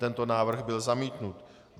Tento návrh byl zamítnut.